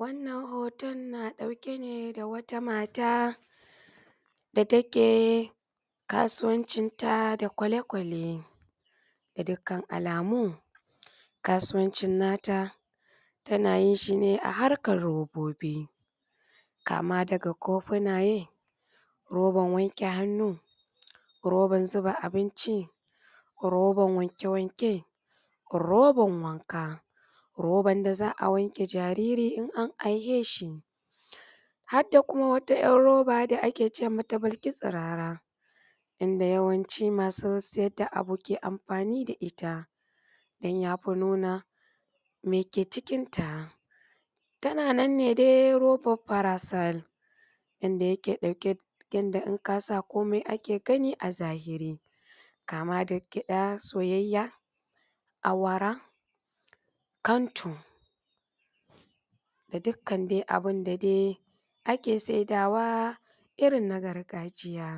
wannan hooton na ɗauke ne da wata maata da take kaasuwancinta da kwalekwalee ga dukkan alamu kaasuwancin nata tana yin shi ne a harkar robobi kama daga kofunayee roban wanke hannu roban zuba abinci roban wanke-wanke roban wanka roban da za a wanke jaariri in an aiheeshi hadda kuma wata 'yar roba da ake ce mata bilki-tsiraara inda yawanci masu sayad da abu ke amfaani da ita don ya fi nuna me ke cikinta tana nan ne dai robar fara sal inda yaka ɗauke inda in kaa sa koomi ake gani a zahiri kama da gyaɗa soyayya awara kantu da dukkan dai abin da dai ake saidaawa irin na gargajiya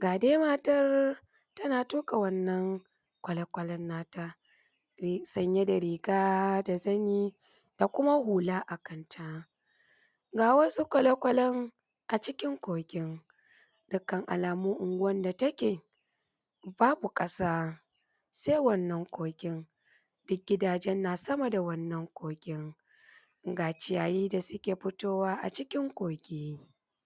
ga dai matar tana tuƙa wannan kwalekwalen nata me sanye da riga da zanii da kuma hula a kanta ga wasu kwalekwalen acikin kogin dukkan alamu unguwan da take baabu ƙasa sai wannan kogin duk gidajen naa sama da wannan kogin ga ciyayii da suke fitowa acikin kogi